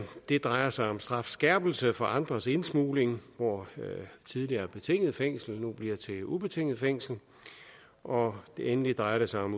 det drejer sig om strafskærpelse for andres indsmugling hvor tidligere betinget fængsel nu bliver til ubetinget fængsel og endelig drejer det sig om